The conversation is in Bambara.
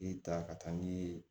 I ta ka taa n'i ye